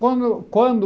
Quando quando